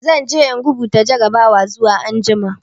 Zan je in rubuta jarrabawar zuwa jami'a.